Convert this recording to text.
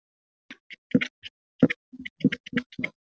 Heiðin var ekkert nema mosi og grjót.